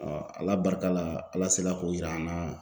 Ala barika la, Ala sela k'o yira an na.